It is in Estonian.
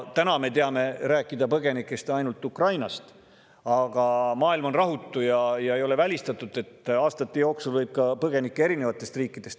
Täna me räägime ainult Ukraina põgenikest, aga maailm on rahutu ja ei ole välistatud, et aastate jooksul võib tulla siia põgenikke erinevatest riikidest.